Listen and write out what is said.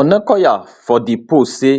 onakoya for di post say